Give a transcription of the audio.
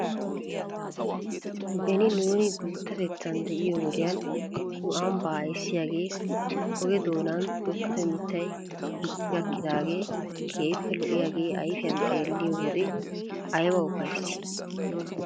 Beni nuuni guuttatettan de'iyoo wodiyan nu ambbaa ayssiyaagee oge doonan tokkido mittay dicci gakkidaagee keehippe lo'iyaagee ayfiyan xeelliyoo wodiya ayba ufayssii?